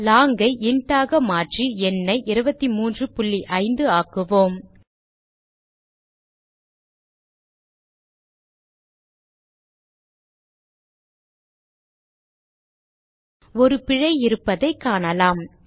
long ஐ int ஆக மாற்றி எண்ணை 235 ஆக்குவோம் ஒரு பிழை இருப்பதை காணலாம்